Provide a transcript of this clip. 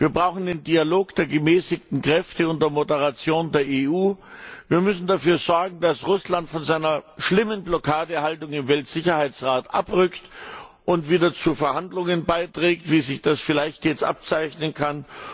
Wir brauchen den Dialog der gemäßigten Kräfte unter Moderation der EU. Wir müssen dafür sorgen, dass Russland von seiner schlimmen Blockadehaltung im UN Sicherheitsrat abrückt und wieder zu Verhandlungen beiträgt, wie es sich das vielleicht jetzt abzeichnen kann.